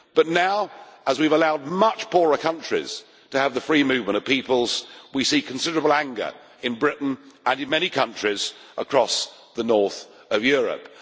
But now, as we have allowed much poorer countries to have the free movement of peoples, we see considerable anger in Britain and in many countries across the north of Europe.